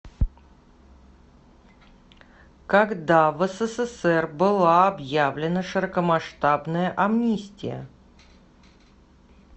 когда в ссср была объявлена широкомасштабная амнистия